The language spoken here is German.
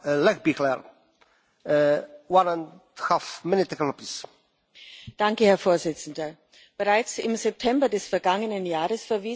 Herr Präsident! Bereits im September des vergangenen Jahres verwiesen wir in einer Entschließung zu den Philippinen auf die sich verschlechternde Menschenrechtslage.